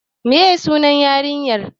Me ye sunan yarinyar?